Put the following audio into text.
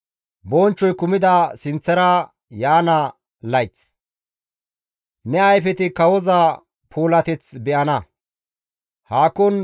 Ne ayfeti kawoza puulateth be7ana; haakon micetti diza biittaaka be7ana.